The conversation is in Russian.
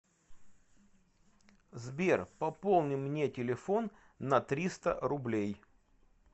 сбер пополни мне телефон на триста рублей